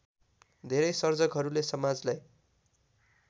धेरै सर्जकहरूले समाजलाई